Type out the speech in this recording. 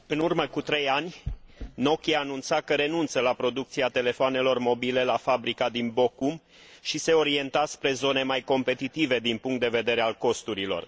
În urmă cu trei ani, Nokia anunța că renunță la producția telefoanelor mobile la fabrica din Bochum și se orienta spre zone mai competitive din punct de vedere al costurilor.